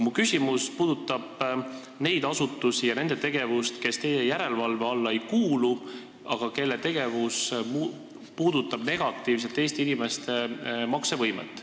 Mu küsimus puudutab aga neid asutusi ja nende tegevust, kes teie järelevalve alla ei kuulu, kuid kelle tegevus puudutab negatiivselt Eesti inimeste maksevõimet.